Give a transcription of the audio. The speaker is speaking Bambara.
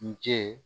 N jɛ